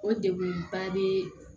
O degun ba bɛ